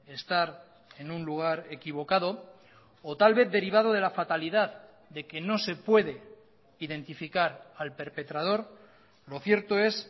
estar en un lugar equivocado o tal vez derivado de la fatalidad de que no se puede identificar al perpetrador lo cierto es